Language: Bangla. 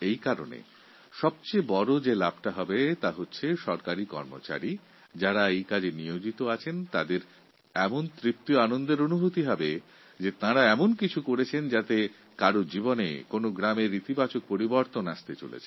এই কারণে সব থেকে বড় লাভ এটাই হবে যে সমস্ত সরকারিকর্মচারী এই প্রকল্পের সঙ্গে যুক্ত তাঁরা এই ভেবে উৎসাহিত ও আনন্দিত হবেন যে তাঁরা এমন কিছু করেছেন যা গ্রামের মানুষের জীবনে এক বিরাট পরিবর্তন এনে দেবে